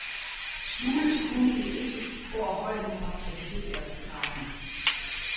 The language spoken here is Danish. Skjules kunne det ikke, hvor holdene var placeret i rækken.